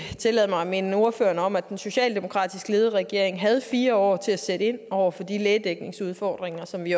tillade mig at minde ordføreren om at den socialdemokratisk ledede regering havde fire år til at sætte ind over for de lægedækningsudfordringer som vi